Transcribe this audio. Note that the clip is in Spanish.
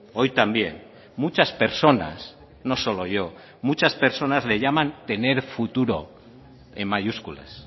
hoy también muchas personas no solo yo le llaman tener futuro en mayúsculas